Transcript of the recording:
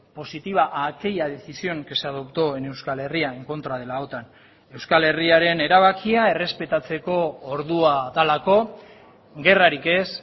positiva a aquella decisión que se adoptó en euskal herria en contra de la otan euskal herriaren erabakia errespetatzeko ordua delako gerrarik ez